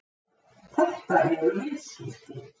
Þetta eru viðskipti.